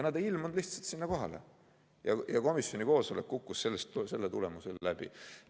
Nad ei ilmunud lihtsalt sinna kohale ja komisjoni koosolek kukkus seetõttu läbi.